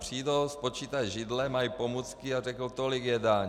Přijdou, spočítají židle, mají pomůcky a řeknou: Tolik je daň.